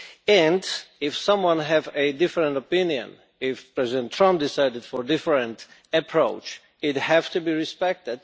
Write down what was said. And if someone has a different opinion, if President Trump decided on a different approach, it would have to be respected.